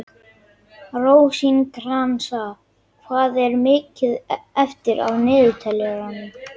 Rósinkransa, hvað er mikið eftir af niðurteljaranum?